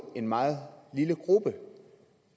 en meget lille gruppe